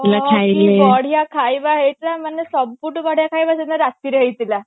କି ବଢିଆ ଖାଇବା ହେଇଥିଲା ମାନେ ସବୁଠୁ ବଢିଆ ଖାଇବା ସେଦିନ ରାତିରେ ହେଇଥିଲା